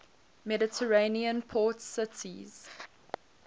mediterranean port cities